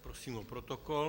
Prosím o protokol.